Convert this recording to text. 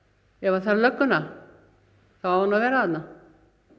ef það þarf lögguna þá á hún að vera þarna